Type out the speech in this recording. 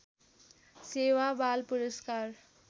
सेवा बाल पुरस्कार